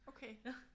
Okay